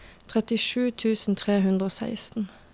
trettisju tusen tre hundre og seksten